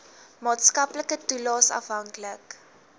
maatskaplike toelaes afhanklik